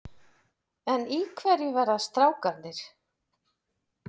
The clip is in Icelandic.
En í hverju verða strákarnir?